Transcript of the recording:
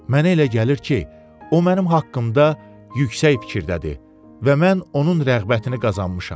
Mənə elə gəlir ki, o mənim haqqımda yüksək fikirdədir və mən onun rəğbətini qazanmışam.